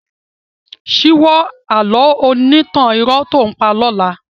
Síwọ́ àlọ́ onítàn irọ́ tó ǹ pa lọ́la.